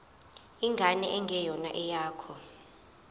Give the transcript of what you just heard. ingane engeyona eyakho